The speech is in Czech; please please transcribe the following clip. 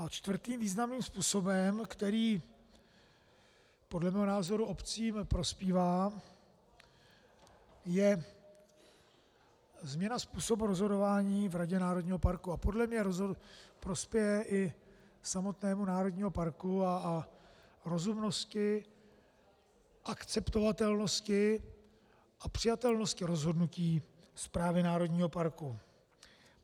A čtvrtým významným způsobem, který podle mého názoru obcím prospívá, je změna způsobu rozhodování v radě národního parku a podle mně prospěje i samotnému národnímu parku a rozumnosti, akceptovatelnosti a přijatelnosti rozhodnutí správy národního parku.